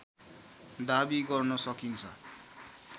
दाबी गर्न सकिन्छ